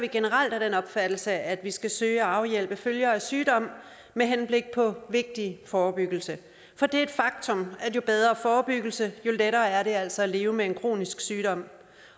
vi generelt af den opfattelse at vi skal søge at afhjælpe følger af sygdom med henblik på vigtig forebyggelse for det er et faktum at jo bedre forebyggelse jo lettere er det altså at leve med en kronisk sygdom